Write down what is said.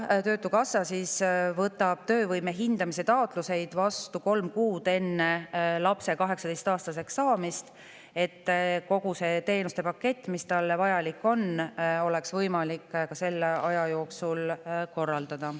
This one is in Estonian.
Töötukassa võtab töövõime hindamise taotluseid vastu kolm kuud enne lapse 18-aastaseks saamist, et kogu teenuste pakett, mis talle vajalik on, oleks võimalik selle aja jooksul korraldada.